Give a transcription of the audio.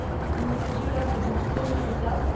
Il ne s'agit là que d'une première étape.